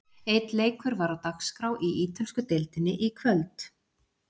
Einn leikur var á dagskrá í Ítölsku deildinni í kvöld.